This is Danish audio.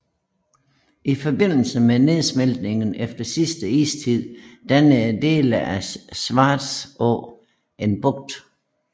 I forbindelse med nedsmeltningen efter sidste istid dannede dele af Svartrå en bugt